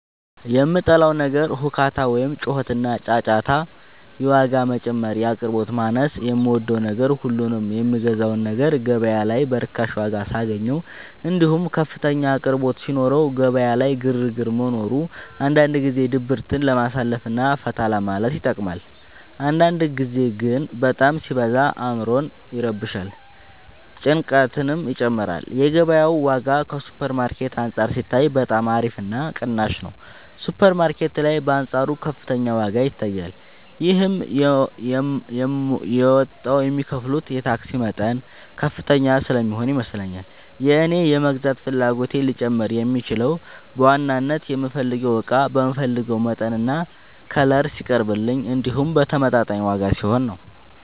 የምጠላው ነገር ሁካታ ወይም ጩኸትና ጫጫታ የዋጋ መጨመር የአቅርቦት ማነስ የምወደው ነገር ሁሉንም የምገዛውን ነገር ገበያ ላይ በርካሽ ዋጋ ሳገኘው እንዲሁም ከፍተኛ አቅርቦት ሲኖረው ገበያ ላይ ግርግር መኖሩ አንዳንድ ጊዜ ድብርትን ለማሳለፍ እና ፈታ ለማለት ይጠቅማል አንዳንድ ጊዜ ግን በጣም ሲበዛ አዕምሮን ይረብሻል ጭንቀትንም ይጨምራል የገበያው ዋጋ ከሱፐር ማርኬት አንፃር ሲታይ በጣም አሪፍ እና ቅናሽ ነው ሱፐር ማርኬት ላይ በአንፃሩ ከፍተኛ ዋጋ ይታያል ይህም የመጣው የሚከፍሉት የታክስ መጠን ከፍተኛ ስለሚሆን ይመስለኛል የእኔ የመግዛት ፍላጎቴ ሊጨምር የሚችለው በዋናነት የምፈልገው እቃ በምፈልገው መጠንና ከለር ሲቀርብልኝ እንዲሁም በተመጣጣኝ ዋጋ ሲሆን ነው።